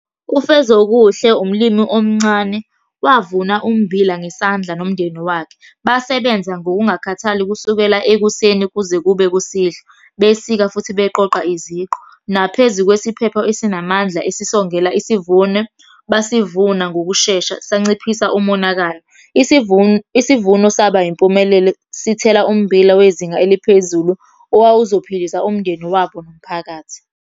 UFezokuhle umlimi omncane, wavuna ummbila ngesandla nomndeni wakhe. Basebenza ngokungakhathali kusukela ekuseni kuze kube kusihlwa, besika, futhi beqoqa iziqu. Naphezu kwesiphepho esinamandla ezisongela isivuno, basivuna ngokushesha sanciphisa umonakalo. Isivuno saba yimpumelelo sithela ummbila wezinga eliphezulu, owawuzophilisa umndeni wabo nomphakathi.